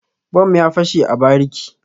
Bom ya fashe a bariki.